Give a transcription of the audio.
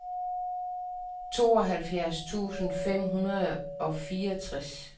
tooghalvfjerds tusind fem hundrede og fireogtres